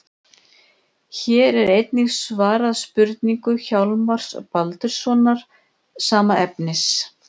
Hér er einnig svarað spurningu Hjálmars Baldurssonar, sama efnis.